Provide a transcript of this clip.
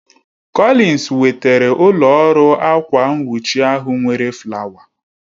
Collins wetara ụlọ ọrụ akwa nwuchi ahụ nwere flawa